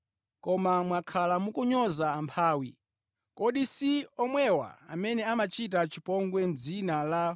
Koma mwakhala mukunyoza amphawi. Kodi si anthu olemerawa amene akukudyerani masuku pamutu? Si anthu amenewa amene amakukokerani ku bwalo la milandu?